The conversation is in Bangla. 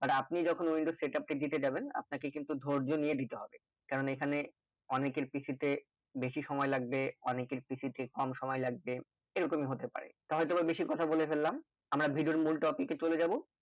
আর আপনি যখন windows setup টি দিতে যাবেন আপানকে কিন্তু ধর্য্য নিয়ে দিতে হবে কারণ এখানে অনেকের PC তে বেশি সময় লাগবে অনেকের PC তে কম সময় লাগবে এইরকমই হতে পারে হয়তো বা বেশি কথা বলে ফেললাম আমরা video এর মূল topic এ চলে যাবো